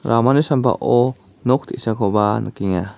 ramani sambao nok te·sakoba nikenga.